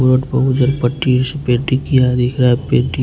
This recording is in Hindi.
रोड पर उधर पट्टी जैसा पेंटिंग किया दिख रहा है पेंटिंग --